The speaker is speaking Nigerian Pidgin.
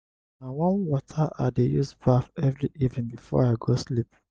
na warm water i dey use baff every evening before i go sleep.